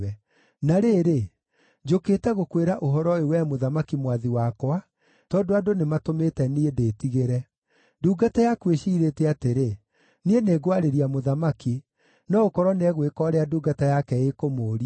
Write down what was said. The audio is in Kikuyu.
“Na rĩrĩ, njũkĩte gũkwĩra ũhoro ũyũ wee mũthamaki mwathi wakwa tondũ andũ nĩmatũmĩte niĩ ndĩtigĩre. Ndungata yaku ĩciirĩtie atĩrĩ, ‘Niĩ nĩngwarĩria mũthamaki; no gũkorwo nĩegwĩka ũrĩa ndungata yake ĩkũmũũria;